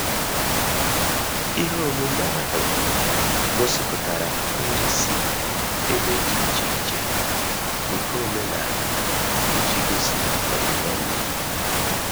Ihe omume ahu gosipụtara nri si ebe di iche iche nke omenala iji gosi ọdibendị.